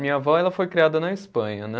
Minha vó, ela foi criada na Espanha, né?